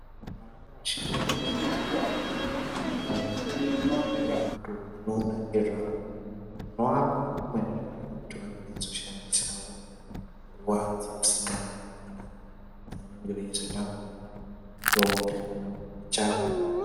Vana vasikana veshe vanewo mabato anoona ngezvawo vanovapawo zvimweni zviro zvekuti vange veizoshandisawo nguwa dzewusikana wakona dzaanenge veyizotambawo untombi dzawo.